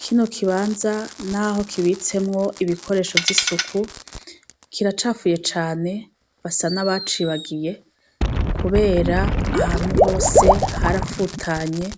Kino kibanza naho kibitsemwo ibikoresho vy'isuku, kiracafuye cane. Basa n'abacibagiye kubera ahantu hose harafutanye,